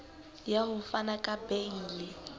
ya ho fana ka beile